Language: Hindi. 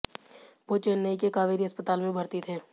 वो चेन्नई के कावेरी अस्पताल में भर्ती थे